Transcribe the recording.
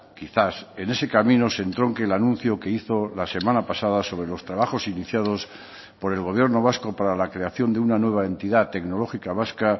quizás en ese camino se entronque el anuncio que hizo la semana pasada sobre los trabajos iniciados por el gobierno vasco para la creación de una nueva entidad tecnológica vasca